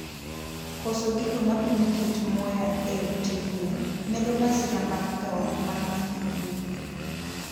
Koso gigo mapimo kit muya e ute gwen medo masira mag thoo mag nyithi gwen